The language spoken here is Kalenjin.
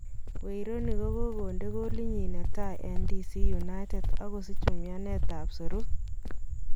Wayne Rooney kokonde goalit nyin netai eng DC United okosich umianet tab serut.